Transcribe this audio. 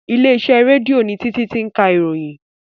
Ilé iṣẹ́ rédíò ni Títí ti ń ka ìròyìn